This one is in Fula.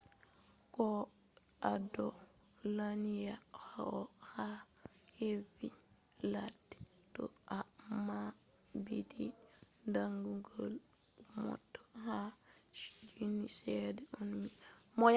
ko’ado lanya on ha hedi ladde to’a mabbiti damugal mota ma je minti sedda on ni chufi nastai